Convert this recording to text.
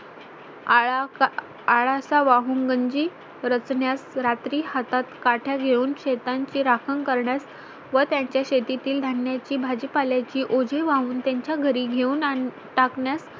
आळा आळा चा वाहून गंजी रचण्यास रात्री हातात काठ्या घेऊन शेतांची राखण करण्यास व त्यांच्या शेतीतील धान्या ची भाजीपाला ची ओझी वाहून त्यांच्या घरी घेऊन टाकण्यास